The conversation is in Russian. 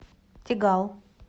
тегал